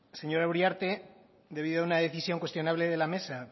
señora uriarte debido a una decisión cuestionable de la mesa